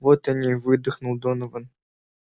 вот они выдохнул донован